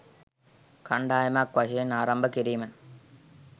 කණ්ඩායමක් වශයෙන් ආරම්භ කිරීම